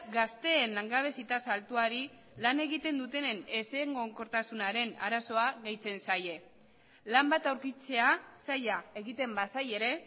gazteen langabezi tasa altuari lan egiten dutenen ezegonkortasunaren arazoa gehitzen zaie lan bat aurkitzea zaila egiten bazaie ere